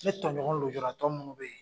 Ne tɔɲɔgɔn lujuratɔ minnu be ye